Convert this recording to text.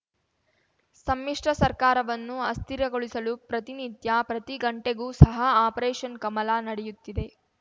ಸಮ್ಮಿಶ್ರ ಸರ್ಕಾರವನ್ನು ಅಸ್ಥಿರಗೊಳಿಸಲು ಪ್ರತಿನಿತ್ಯ ಪ್ರತಿ ಗಂಟೆಗೂ ಸಹ ಆಪರೇಷನ್‌ ಕಮಲ ನಡೆಯುತ್ತಿದೆ